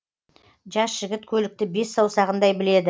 жас жігіт көлікті бес саусағындай біледі